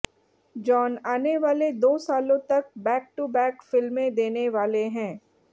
John आने वाले दो सालों तक बैक टू बैक फिल्में देने वाले हैं